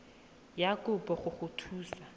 ya kopo go go thusa